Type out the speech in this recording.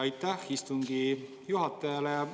Aitäh istungi juhatajale!